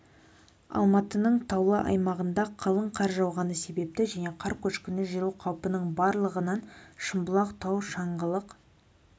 алматының таулы аймағында қалың қар жауғаны себепті және қар көшкіні жүру қаупінің барлығынан шымбұлақ тау шыңғылық